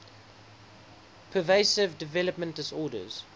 pervasive developmental disorders